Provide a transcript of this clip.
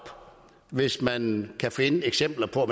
hvis man kan finde eksempler på at